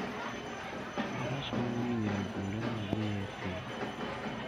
Faras konyo ji ng'eyo kuonde ma gidhiye e thim.